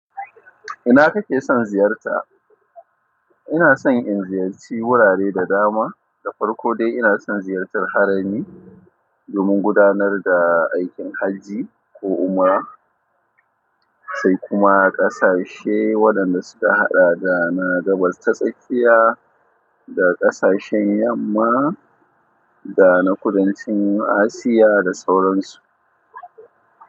Ina kake son ziyarta? Ina son in ziyarci wurare da dama, da farko dai ina son ziyartar harami domin gudanar da aikin hajji ko umra, sai kuma ƙasashe waɗanda su ka haɗa da na gabas ta tsakiya da ƙasashen yamma dana kudancin Asiya da sauran su.